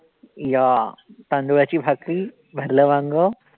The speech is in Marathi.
Yeah तांदूळाची भाकरी, भरलं वांग